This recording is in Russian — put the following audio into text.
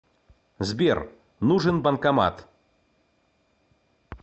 сбер нужен банкомат